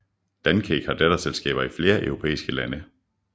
Dan Cake har datterselskaber i flere europæiske lande